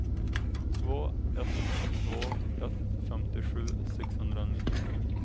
två ett två ett femtiosju sexhundranittiosju